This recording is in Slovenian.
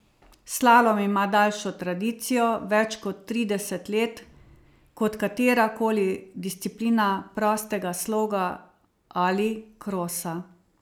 Slalom ima daljšo tradicijo, več kot trideset let, kot katera koli disciplina prostega sloga ali krosa.